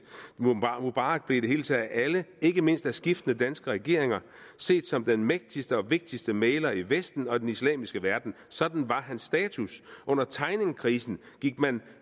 mubarak blev i det hele taget af alle ikke mindst af skiftende danske regeringer set som den mægtigste og vigtigste mægler i vesten og den islamiske verden sådan var hans status under tegningkrisen gik man